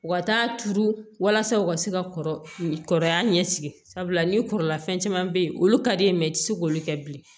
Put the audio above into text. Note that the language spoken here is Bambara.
U ka taa turu walasa u ka se ka kɔrɔbaya ɲɛsigi sabula ni kɔrɔla fɛn caman bɛ yen olu ka di i tɛ se k'olu kɛ bilen